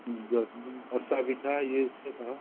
ହଁ ଅରିଷା ପିଠା ଇଏ ସେ